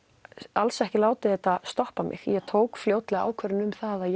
alls ekki látið þetta stoppa mig ég tók fljótlega ákvörðun um að